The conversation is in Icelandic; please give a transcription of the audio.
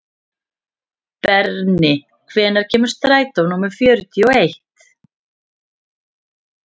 Berni, hvenær kemur strætó númer fjörutíu og eitt?